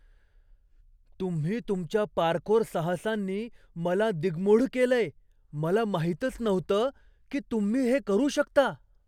तुम्ही तुमच्या पार्कोर साहसांनी मला दिङ्मूढ केलंय, मला माहीतच नव्हतं की तुम्ही हे करू शकता.